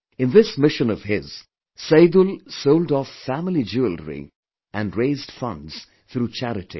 In this mission of his, Saidul sold off family jewellery and raised funds through charity